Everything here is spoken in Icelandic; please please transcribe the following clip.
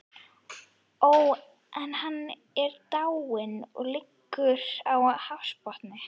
Ó, en hann er dáinn, og liggur á hafsbotni.